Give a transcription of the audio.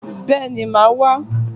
Béèni màá wá